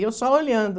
E eu só olhando.